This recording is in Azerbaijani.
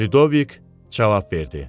Lyudovik cavab verdi: